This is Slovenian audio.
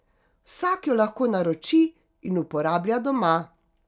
Vsak jo lahko naroči in uporablja doma.